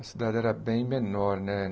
A cidade era bem menor, né?